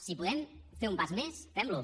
si podem fer un pas més fem lo